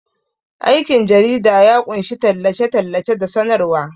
Aikin jarida ya ƙunshi tallace-tallace da sanarwa.